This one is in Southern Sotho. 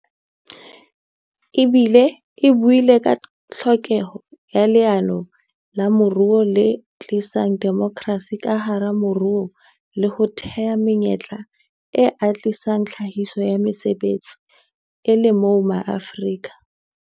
E buile ka tlhokeho ya leano la moruo le tlisang demokrasi ka hara moruo le ho thea menyetla e atlehisang tlhahiso ya mesebetsi, e le moo Maafrika